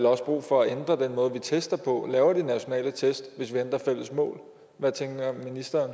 også brug for at ændre den måde vi tester og laver de nationale test på hvad tænker ministeren